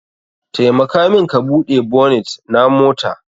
Taimaka min ka Bude bonit na mota.